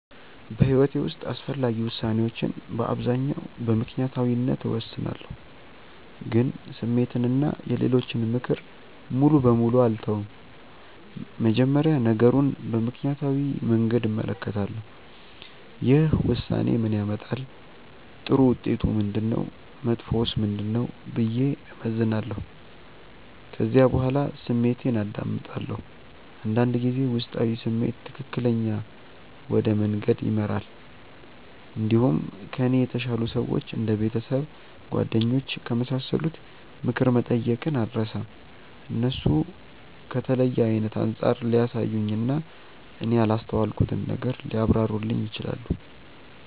በሕይወቴ ውስጥ አስፈላጊ ውሳኔዎችን በአብዛኛው በምክንያታዊነት እወስናለሁ፣ ግን ስሜትን እና የሌሎችን ምክር ሙሉ በሙሉ አልተውም። መጀመሪያ ነገሩን በምክንያታዊ መንገድ እመለከታለሁ። ይህ ውሳኔ ምን ያመጣል? ጥሩ ውጤቱ ምንድነው? መጥፎውስ ምንድነው? ብዬ እመዝናለሁ። ከዚያ በኋላ ስሜቴን አዳምጣለሁ። አንዳንድ ጊዜ ውስጣዊ ስሜት ትክክለኛ ወደ መንገድ ይመራል። እንዲሁም ከእኔ የተሻሉ ሰዎች እንደ ቤተሰብ፣ ጓደኞች ከመሳሰሉት ምክር መጠየቅን አልርሳም። እነሱ ከተለየ አይነት አንጻር ሊያሳዩኝ እና እኔ ያላስተዋልኩትን ነገር ሊያብራሩልኝ ይችላሉ።